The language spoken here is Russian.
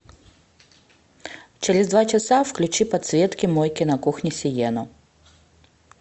через два часа включи подсветки мойки на кухне сиену